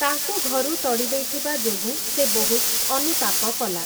ତାଙ୍କୁ ଘରୁ ତଡ଼ିଦେଇଥିବା ଯୋଗୁଁ, ସେ ବହୁତ୍ ଅନୁତାପ କଲା ।